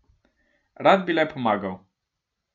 Rad bi le pomagal.